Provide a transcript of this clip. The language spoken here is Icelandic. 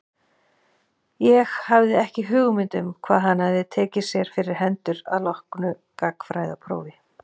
Ég hafði ekki hugmynd um hvað hann hafði tekið sér fyrir hendur að loknu gagnfræðaprófi.